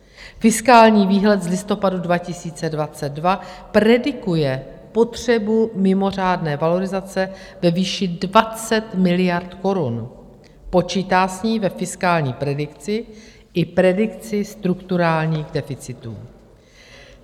Fiskální výhled z listopadu 2022 predikuje potřebu mimořádné valorizace ve výši 20 miliard korun, počítá s ní ve fiskální predikci i predikci strukturálních deficitů.